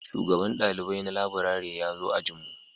Shugaban dalibai na laburare ya zo ajin mu